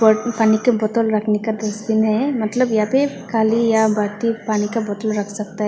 और पानी का बोतल रखने का डस्टबिन है मतलब या पे खाली या पानी का बोतल रख सकता है।